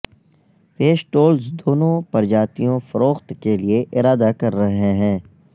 پیش ٹولز دونوں پرجاتیوں فروخت کے لئے ارادہ کر رہے ہیں